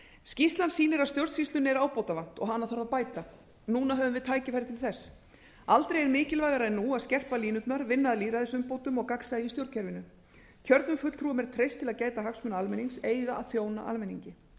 skýrslan sýnir að stjórnsýslunni er ábótavant og hana þurfi að bæta núna höfum við tækifæri til þess aldrei er mikilvægara en nú að skerpa línurnar vinna að lýðræðisumbótum og gagnsæi í stjórnkerfinu kjörnum fulltrúum er treyst til að gæta fulltrúa almennings eiga að þjóna almenningi